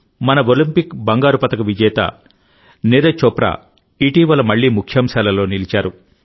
మన ఒలింపిక్ బంగారు పతక విజేత నీరజ్ చోప్రా ఇటీవలమళ్ళీ ముఖ్యాంశాలలో నిలిచారు